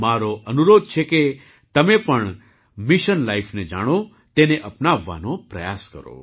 મારો અનુરોધ છે કે તમે પણ મિશન લાઇફને જાણો તેને અપનાવવાનો પ્રયાસ કરો